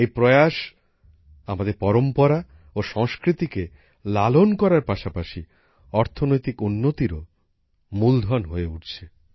এই প্রয়াস আমাদের পরম্পরা ও সংস্কৃতিকে লালন করার পাশাপাশি অর্থনৈতিক উন্নতিরও মূলধন হয়ে উঠছে